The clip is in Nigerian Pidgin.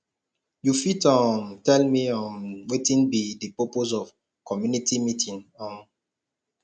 you fit um tell me um wetin be di purpose of community meeting um